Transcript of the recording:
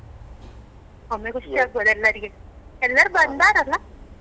ಒಮ್ಮೆ ಖುಷಿ ಆಗ್ಬೋದು ಎಲ್ಲರಿಗೆಸ ಎಲ್ಲಾರು ಬಂದಾರಲ್ಲ.